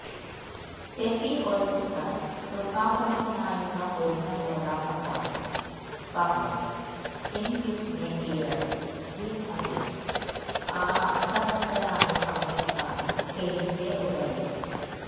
Steffi ഒഴിച്ചിട്ട സിംഹാസനത്തിനായുള്ള പൊരിഞ്ഞ പോരാട്ടം നടന്ന സമയം ഹിന്ഗിസിനെ കീഴടക്കി കിം അതില് ആസനസ്ഥയായ സമയത്താണ് ഹെനിന്റെ ഉദയവും